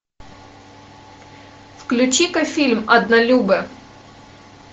включи ка фильм однолюбы